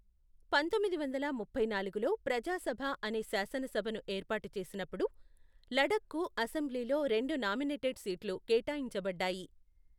పంతొమ్మిది వందల ముప్పై నాలుగులో ప్రజాసభ అనే శాసనసభను ఏర్పాటు చేసినప్పుడు, లడఖ్కు అసెంబ్లీలో రెండు నామినేటెడ్ సీట్లు కేటాయించబడ్డాయి.